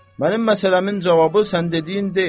Mənim məsələmin cavabı sən dediyin deyil.